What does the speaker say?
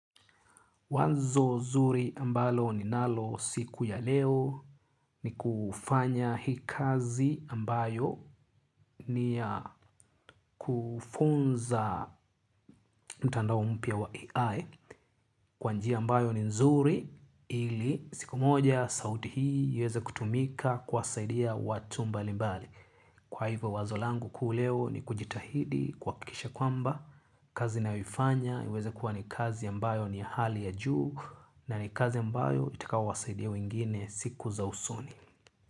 Wazo zuri ambalo ninalo siku ya leo ni kufanya hii kazi ambayo ni ya kufunza mtandao mpya wa AI kwa njia ambayo ni nzuri ili siku moja sauti hii iweze kutumika kuwasaidia watu mbali mbali. Kwa hivyo wazo langu kuu leo ni kujitahidi kuhakikisha kwamba, kazi nayoifanya iweze kuwa ni kazi ambayo ni hali ya juu na ni kazi ambayo itakaowasaidia wengine siku za usoni.